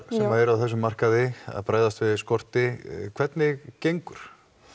sem eruð á þessum markaði að bregðast við skorti hvernig gengur